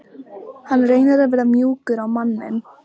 Hann reynir að vera mjúkur á manninn.